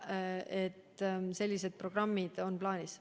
Nii et sellised programmid on plaanis.